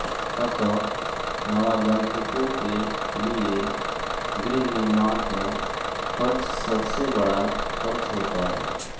अतः नवागंतुकों के लिए गृहनिर्माण का खर्च सबसे बड़ा खर्च होता है